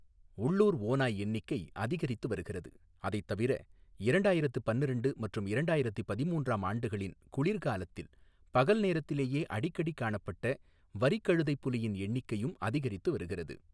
உள்ளூர் ஓநாய் எண்ணிக்கை அதிகரித்து வருகிறது, அதைத் தவிர இரண்டாயிரத்து பன்னிரெண்டு மற்றும் இரண்டாயிரத்து பதிமூன்றாம் ஆண்டுகளின் குளிர்காலத்தில் பகல் நேரத்திலேயே அடிக்கடி காணப்பட்ட வரிக் கழுதைப் புலியின் எண்ணிக்கையும் அதிகரித்து வருகிறது.